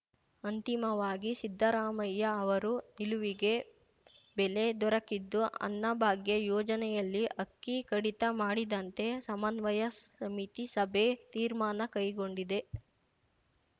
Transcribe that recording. ಅಂತಿಮವಾಗಿ ಸಿದ್ದರಾಮಯ್ಯ ಅವರ ನಿಲುವಿಗೆ ಬೆಲೆ ದೊರಕಿದ್ದು ಅನ್ನಭಾಗ್ಯ ಯೋಜನೆಯಲ್ಲಿ ಅಕ್ಕಿ ಕಡಿತ ಮಾಡಿದಂತೆ ಸಮನ್ವಯ ಸಮಿತಿ ಸಭೆ ತೀರ್ಮಾನ ಕೈಗೊಂಡಿದೆ